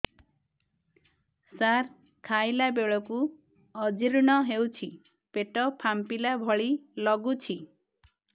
ସାର ଖାଇଲା ବେଳକୁ ଅଜିର୍ଣ ହେଉଛି ପେଟ ଫାମ୍ପିଲା ଭଳି ଲଗୁଛି